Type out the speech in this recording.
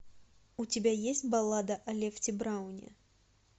у тебя есть баллада о лефти брауне